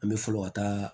An bɛ fɔlɔ ka taa